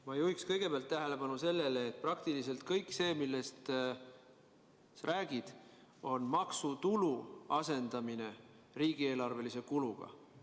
Ma juhin kõigepealt tähelepanu sellele, et praktiliselt kõik see, millest sa räägid, on maksutulu asendamine riigieelarvelise kuluga.